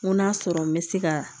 N ko n'a sɔrɔ n bɛ se ka